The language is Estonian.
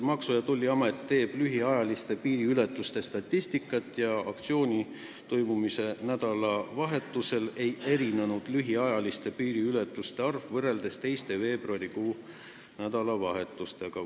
Maksu- ja Tolliamet teeb lühiajaliste piiriületuste statistikat ja aktsiooni toimumise nädalavahetusel ei erinenud lühiajaliste piiriületuste arv teiste veebruarikuu nädalavahetuste piiriületuste arvust.